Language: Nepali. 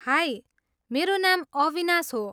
हाई, मेरो नाम अविनाश हो।